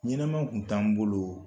Ɲɛnama kun t'an bolo